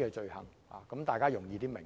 的罪行，這樣大家會較易明白。